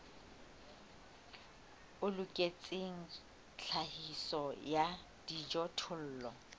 o loketseng tlhahiso ya dijothollo